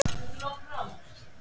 Sæunn og Ásgeir.